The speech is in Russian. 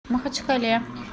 махачкале